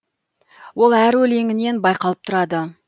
ол әр өлеңінен байқалып тұрады